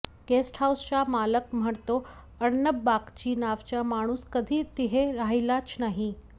गेस्टहाऊसचा मालक म्हणतो अर्णब बाग्ची नावाचा माणूस कधी तिथे राहिलाच नाही